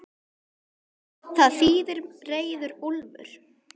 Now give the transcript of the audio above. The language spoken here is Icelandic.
Það þýðir reiður úlfur.